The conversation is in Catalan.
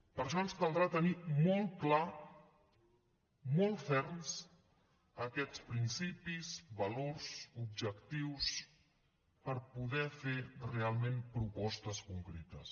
per això ens caldrà tenir molt clars molt ferms aquests principis valors objectius per poder fer realment propostes concretes